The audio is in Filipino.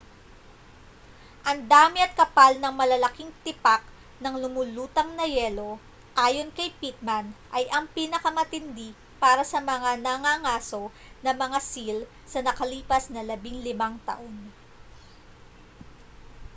ang dami at kapal ng malalaking tipak ng lumulutang na yelo ayon kay pittman ay ang pinakamatindi para sa mga nangangaso ng mga seal sa nakalipas na 15 taon